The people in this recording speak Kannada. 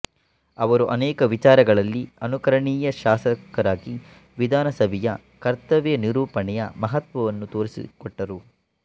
ಅವರು ಅನೇಕ ವಿಚಾರಗಳಲ್ಲಿ ಅನುಕರಣೀಯ ಶಾಸಕರಾಗಿ ವಿಧಾನಸಭೆಯ ಕರ್ತವ್ಯ ನಿರೂಪಣೆಯ ಮಹತ್ವವನ್ನು ತೋರಿಸಿಕೊಟ್ಟರು